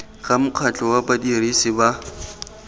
ga mokgatlho wa badirisi ba